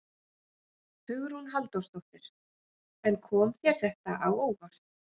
Hugrún Halldórsdóttir: En kom þér þetta á óvart?